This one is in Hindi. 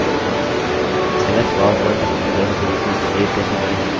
ms powerpoint प्रस्तुतिकरण के रूप में सेव कैसे करें